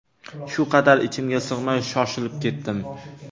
Shu qadar ichimga sig‘may, shoshilib ketdim.